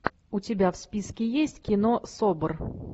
у тебя в списке есть кино собр